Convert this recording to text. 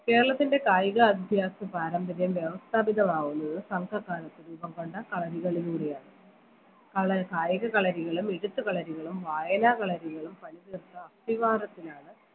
കേരളത്തിൻറെ കായിക പാരമ്പര്യം വ്യവസ്ഥാതീതമാവുന്നത് സംഘ കാലത്ത് രൂപം കൊണ്ട കളരികളിലൂടെയാണ് ക കായിക കളരികളും മികച്ച കളരികളും വായനാ കളരികളും പണിതീർത്ത അസ്ഥി വാദത്തിനാണ്